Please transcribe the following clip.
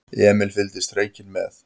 Emil fylgdist hreykinn með.